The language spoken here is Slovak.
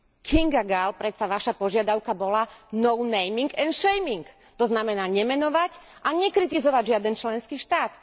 Kinga Gál, predsa vaša požiadavka bola no naming and shaming, to znamená nemenovať a nekritizovať žiaden členský štát.